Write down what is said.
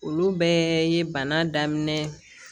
Olu bɛɛ ye bana daminɛ